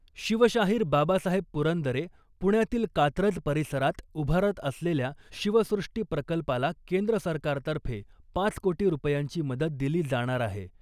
शिवशाहीर बाबासाहेब पुरंदरे पुण्यातील कात्रज परिसरात उभारत असलेल्या शिवसृष्टी प्रकल्पाला केंद्र सरकारतर्फे पाच कोटी रुपयांची मदत दिली जाणार आहे .